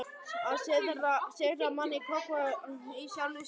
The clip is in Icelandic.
Að sigra mann í krók var í sjálfu sér list.